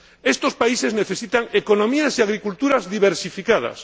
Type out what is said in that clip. Estos países necesitan economías y agriculturas diversificadas.